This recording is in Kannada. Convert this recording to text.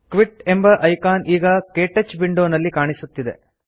ಕ್ವಿಟ್ ಎಂಬ ಐಕಾನ್ ಈಗ ಕೇಟಚ್ ವಿಂಡೋ ನಲ್ಲಿ ಕಾಣಿಸುತ್ತದೆ